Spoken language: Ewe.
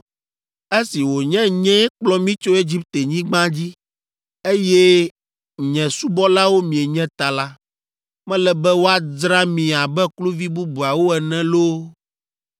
Esi wònye nyee kplɔ mi tso Egiptenyigba dzi, eye nye subɔlawo mienye ta la, mele be woadzra mi abe kluvi bubuawo ene loo